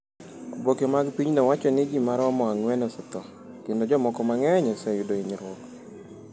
Oboke mag pinyno wacho ni ji maromo ang’wen osetho, kendo jomoko mang’eny oseyudo hinyruok.